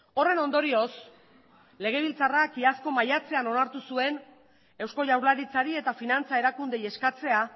horren ondorioz legebiltzarrak iazko maiatzean onartu zuen eusko jaurlaritzari eta finantza erakundeei eskatzea